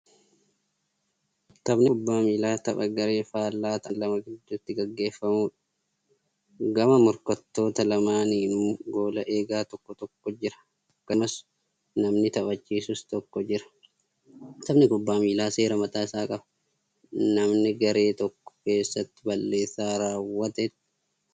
Taphni kubbaa miillaa tapha garee faallaa ta'an lama gidduutti gaggeeffamuudha. Gama morkattoota lamaaninuu goola egaa tokko tokkotu jira. Akkasumas namni taphachisus tokkotu jira. Taphni kubbaa miillaa seera mataa isaa qaba. Namna garee tokko keessaa balleessaa raawwatetti adabbiitu itti kennamu.